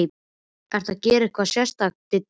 Ertu að gera eitthvað sérstakt, Diddi minn.